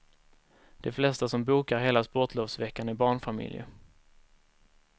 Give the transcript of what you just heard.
De flesta som bokar hela sportlovsveckan är barnfamiljer.